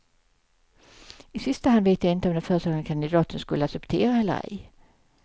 I sista hand vet jag inte om den föreslagna kandidaten skulle acceptera eller ej.